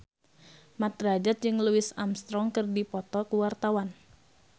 Mat Drajat jeung Louis Armstrong keur dipoto ku wartawan